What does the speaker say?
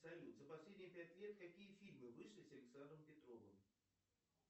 салют за последние пять лет какие фильмы вышли с александром петровым